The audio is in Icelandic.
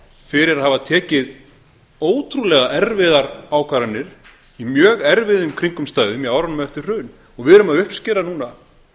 fyrir að hafa tekið ótrúlega erfiðar ákvarðanir í mjög erfiðum kringumstæðum í árunum eftir hrun við erum að uppskera núna